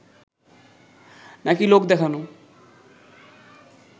নাকি লোক দেখানো